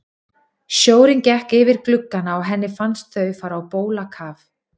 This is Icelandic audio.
Sjórinn gekk yfir gluggana og henni fannst þau fara á bólakaf.